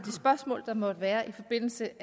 spørgsmål der måtte være i forbindelse